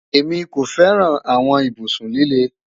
Emi ko fẹran awọn ibusun lile